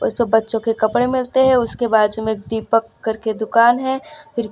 जो बच्चों के कपड़े मिलते हैं उसके बाजू में दिपक करके दुकान हैं फिर--